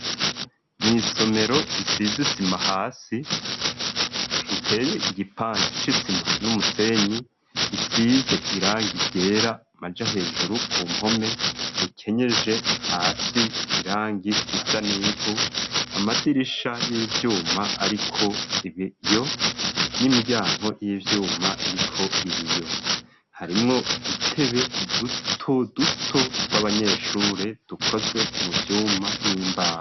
Mwisomero risizisima hasi riteye igipande cisima n'umusenyi risize irangi gera maja hejuru ku mpome rikenyeje hasi irangi risanivu amadirisha y'ivyuma ariko ibiyo n'imiryanko y'ivyuma iriko ibiyo harimwo dutebe duto duto tw'abanyeshure dukoze mu vyuma n'imbaho.